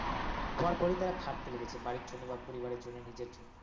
মানে হওয়ার পরিই তারা খাটতে লেগেছে বাড়ির জন্য বা পরিবারের জন্য নিজের জন্য